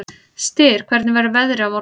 Styr, hvernig verður veðrið á morgun?